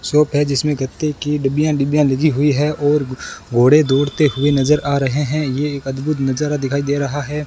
Shop है जिसमें गत्ते की डिबियां डिबियां लगी हुई है और घोड़े दौड़ते हुए नजर आ रहे हैं यह एक अद्भुत नजारा दिखाई दे रहा है।